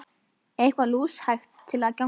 Eitthvað lúshægt til að vanga eftir!